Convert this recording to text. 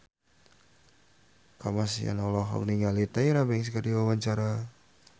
Kamasean olohok ningali Tyra Banks keur diwawancara